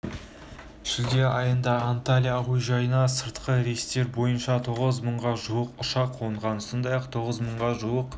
шілде айында анталья әуежайына сыртқы рейстер бойынша тоғыз мыңға жуық ұшақ қонған сондай-ақ тоғыз мыңға жуық